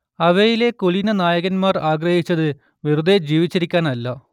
അവയിലെ കുലീനനായകന്മാർ ആഗ്രഹിച്ചത് വെറുതേ ജീവിച്ചിരിക്കാനല്ല